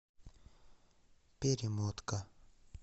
перемотка